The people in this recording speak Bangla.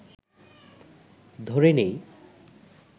ধরে নিই